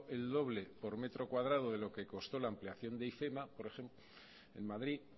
el doble por metro cuadrado de lo que costó la ampliación de ifema por ejemplo